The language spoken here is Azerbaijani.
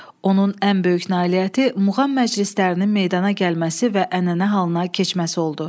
Onun ən böyük nailiyyəti muğam məclislərinin meydana gəlməsi və ənənə halına keçməsi oldu.